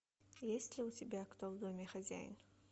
есть ли у тебя кто в доме хозяин